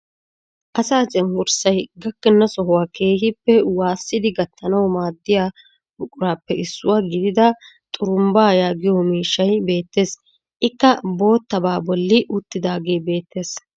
Asaa cenggurssay gakkena sohuwaa keehippe waasidi gattanwu maaddiyaa buqurappe issuwaa gidida xurumbbaa yaagiyoo miishshay beettees. ikka boottabaa bolli uttidagee bettees.